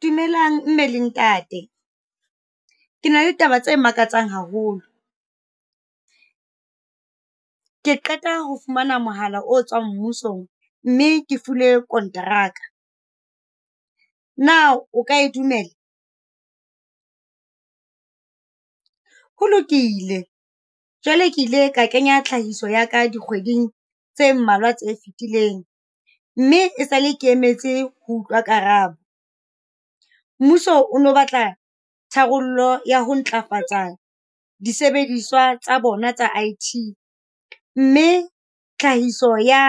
Dumelang mme le Ntate, ke na le taba tse makatsang haholo. Ke qeta ho fumana mohala o tswang mmusong mme ke filwe kontrak-a. Na, o ka e dumela? Ho lokile, jwale ke ile ka kenya tlhahiso ya ka dikgweding tse mmalwa tse fitileng, mme esale ke emetse ho utlwa karabo. Mmuso o no batla tharollo ya ho ntlafatsa disebediswa tsa bona tsa I_T, mme tlhahiso ya